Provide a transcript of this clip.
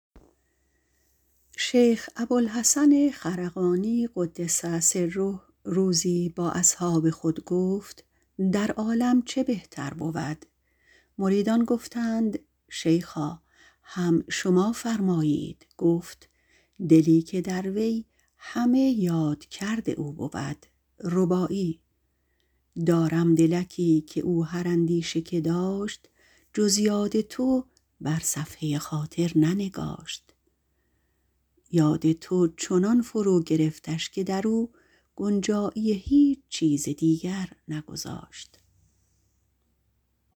شیخ ابوالحسن خرقانی - قدس سره - روزی به اصحاب خود گفت که چه بهتر بود گفتند شیخا هم تو بگوی گفت دلی که در وی همه یاد کرد او بود دارم دلکی که با هر اندیشه که داشت جز یاد تو بر صفحه خاطر ننگاشت یاد تو چنان فرو گرفتش که در او گنجایی هیچ چیز دیگر نگذاشت